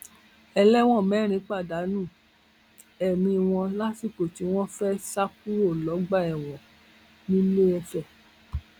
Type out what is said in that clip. ẹlẹwọn mẹrin pàdánù ẹmí wọn lásìkò tí wọn fẹẹ sá kúrò lọgbà ẹwọn nìlééfẹ